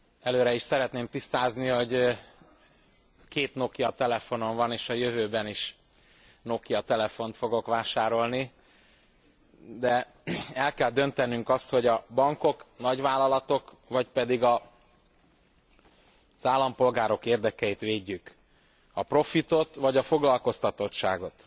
Előre is szeretném tisztázni, hogy két Nokia telefonom van, és a jövőben is Nokia telefont fogok vásárolni, de el kell döntenünk azt, hogy a bankok, nagyvállalatok, vagy pedig az állampolgárok érdekeit védjük, a profitot vagy a foglalkoztatottságot.